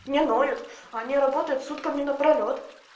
не ноют они работают сутками напролёт